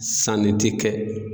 Sanni ti kɛ.